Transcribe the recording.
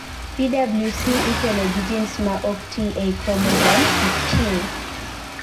PWS ikelo gi genes ma ok tii ei chromosome 15